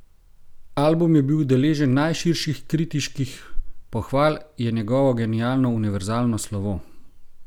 Album je bil deležen najširših kritiških pohval, je njegovo genialno, univerzalno slovo.